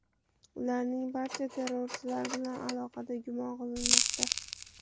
Ularning barchasi terrorchilar bilan aloqada gumon qilinmoqda.